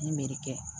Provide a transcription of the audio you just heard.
Ni mɛri kɛ